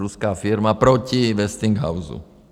Ruská firma proti Westinghouse.